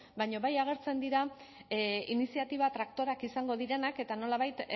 baina bai agertzen dira iniziatiba traktoreak izango direnak eta nolabait